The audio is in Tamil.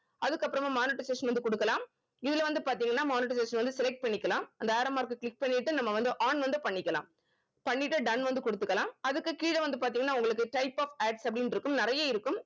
அதுக்கப்புறமா monetization வந்து குடுக்கலாம் இதுல வந்து பாத்தீங்கன்னா monetization வந்து select பண்ணிக்கலாம் அந்த arrow mark அ click பண்ணிட்டு நம்ம வந்து on வந்து பண்ணிக்கலாம் பண்ணிட்டு done வந்து குடுத்துக்கலாம் அதுக்கு கீழ வந்து பார்த்தீங்கன்னா உங்களுக்கு type of adds அப்படின்னு இருக்கும் நிறைய இருக்கும்